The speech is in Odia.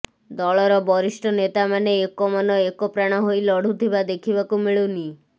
ଦଳର ବରିଷ୍ଠ ନେତାମାନେ ଏକମନ ଏକପ୍ରାଣ ହୋଇ ଲଢ଼ୁଥିବା ଦେଖିବାକୁ ମିଳୁନି